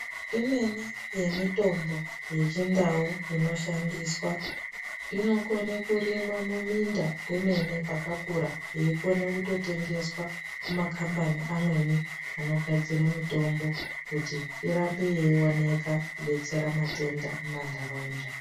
Imweni yemutombo yechindau inoshandiswa inokone kurimwa muminda kwemene pakakura yeikona kutotengeswa kumakambani amweni anogadzira mitombo kuti irambe yeioneka kudetsera matenda mumandaraunda.